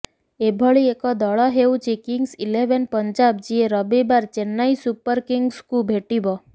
ଏଭଳି ଏକ ଦଳ ହେଉଛି କିଙ୍ଗସ ଇଲେଭେନ୍ ପଞ୍ଜାବ ଯିଏ ରବିବାର ଚେନ୍ନାଇ ସୁପର୍ କିଙ୍ଗସକୁ ଭେଟିବ